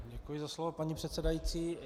Děkuji za slovo, paní předsedající.